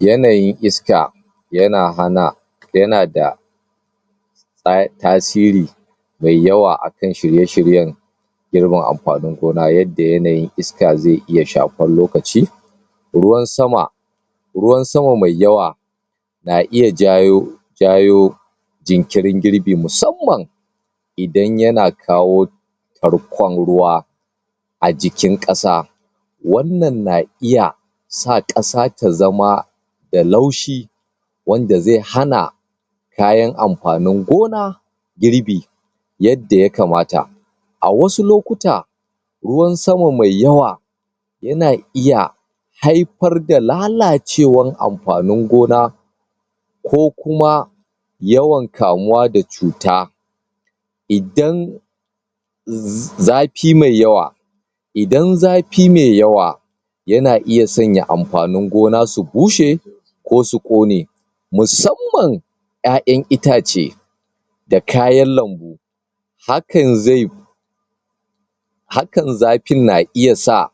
Yanayin iska ya na hana, ya na da tasiri mai yawa akan shirye-shirye girman amfanin gona yadda yanayin iska ze iya shafuwan lokaci ruwan sama ruwan sama mai yawa na iya jayo, jayo jinkirin girbi musamman idan ya na kawo tarkan ruwa a jikin kasa wannan na iya sa kasa ta zama da laushi wanda ze hana kayan amfanin gona girbi yadda ya kamata a wasu lokuta ruwan saman mai yawa yana iya haifar da lalacewan amfanin gona ko kuma yawan kamuwa da cuta idan zafi mai yawa idan zafi mai yawa ya na iya sanya amfanin gona su bushe ko su ƙone musamman, ƴaƴan itace da kayan lambu hakan zai hakan zafin na iya sa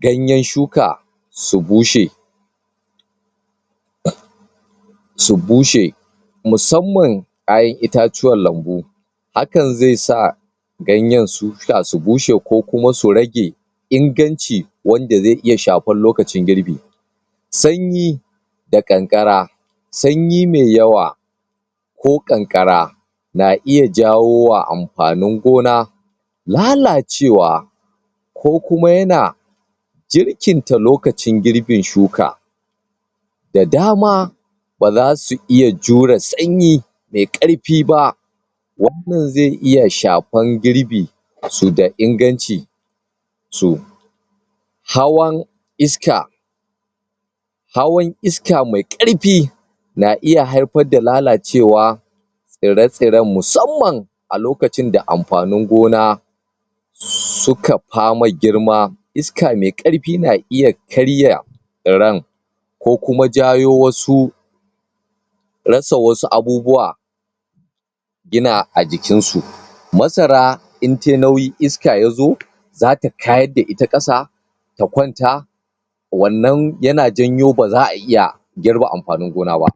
ganyen shuka su bushe su bushe musamman, ai itatuwan lambu hakan zai sa ganye su su bushe ko kuma su rage inganci wanda zai iya shafar lokacin girbi sanyi da kankara, sanyi mai yawa ko kankara na iya jawowa amfanin gona lalacewa ko kuma yana jirkin ta lokacin girbin shuka da dama ba za su iya jura sanyi mai karfi ba wannan zai iya shafan girbi su da inganci su. Hawan iska hawan iska mai karfi na iya haifar da lalacewa in ratse rai musamman a lokacin da amfanin gona su ka pama girma iska mai karfi na iya karya iren ko kuma jayo wasu rasa wasu abubuwa ina a jikin su masara in ta yi nauyi, iska ya zo za ta kayar da ita kasa ta kwanta wannan ya na janyo ba zaa iya girba amfanin gona ba.